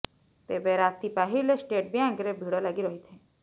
ତେବେ ରାତି ପାହିଲେ ଷ୍ଟେଟ୍ ବ୍ୟାଙ୍କରେ ଭିଡ଼ ଲାଗି ରହିଥାଏ